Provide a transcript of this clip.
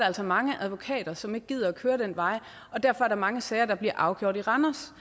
altså mange advokater som ikke gider at køre den vej og derfor er der mange sager der bliver afgjort i randers